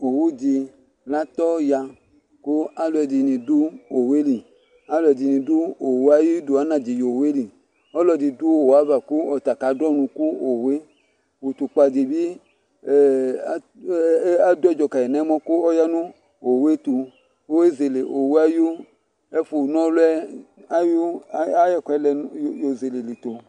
Owu dɩ latɔya kʊ alʊ ɛdɩnɩ dʊ owu yɛ lɩ Alʊ ɛdɩnɩ dʊ owu ayʊdu anadi ewui uwu yɛ lɩ Ɔlɔdɩ dʊ owu ava kʊ ɔtaka dʊ ɔnʊ kʊ owu yɛ Utukpa dɩbɩ adʊ ɛdzɔ kayi nʊ ɛlɔ kʊ oya nʊ owʊ yɛ tʊ Kʊ ezele owu yɛ ayʊ efʊ na ɔlʊ yɛ ayʊ ɛkʊ yo zele lɛ ito